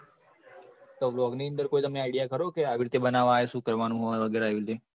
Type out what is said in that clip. તો blog ની અંદર કોઈ તમને idea ખરો કે, આવી રીતે બનાવાય, શું કરવાનું હોય, વગેરે એવી રીતે?